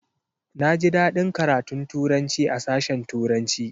Na ji daɗin karatun Turanci a sashen turanci